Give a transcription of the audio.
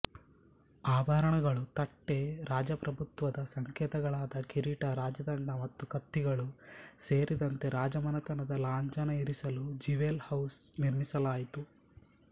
ಆಭರಣಗಳು ತಟ್ಟೆ ರಾಜಪ್ರಭುತ್ವದ ಸಂಕೇತಗಳಾದ ಕಿರೀಟ ರಾಜದಂಡ ಮತ್ತು ಕತ್ತಿಗಳು ಸೇರಿದಂತೆ ರಾಜಮನೆತನದ ಲಾಂಛನ ಇರಿಸಲು ಜಿವೆಲ್ ಹೌಸ್ ನಿರ್ಮಿಸಲಾಯಿತು